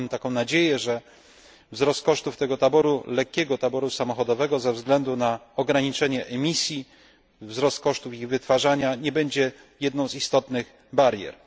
Mamy taką nadzieję, że wzrost kosztów tego lekkiego taboru samochodowego ze względu na ograniczenie emisji, wzrost kosztów ich wytwarzania nie będzie jedną z istotnych barier.